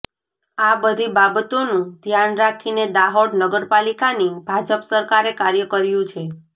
આ બધી બાબતોનું ધ્યાન રાખીને દાહોદ નગરપાલિકાની ભાજપ સરકારે કાર્ય કર્યું છે